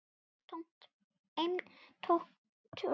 Eintómt rugl.